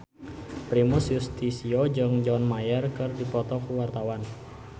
Primus Yustisio jeung John Mayer keur dipoto ku wartawan